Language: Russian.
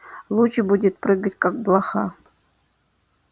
луч будет прыгать как блоха